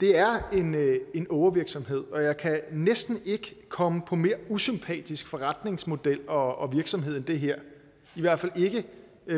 det er en ågervirksomhed og jeg kan næsten ikke komme på en mere usympatisk forretningsmodel og virksomhed end det her i hvert fald ikke